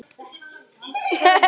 Alltént verð ég feginn.